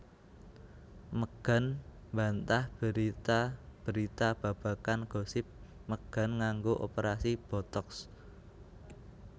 Megan mbantah berita berita babagan gosip megan nganggo operasi botox